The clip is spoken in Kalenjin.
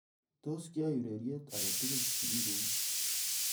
Tos kiaiy ureriet ake tugul sigikuk